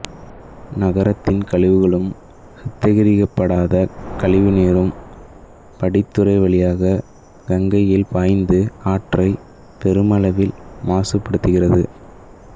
நகரத்தின் கழிவுகளும் சுத்திகரிக்கப்படாத கழிவுநீரும் படித்துறை வழியாக கங்கையில் பாய்ந்து ஆற்றை பெருமளவில் மாசுபடுத்துகிறது